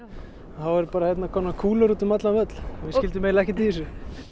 þá voru bara kúlur út um allan völl við skildum eiginlega ekkert í þessu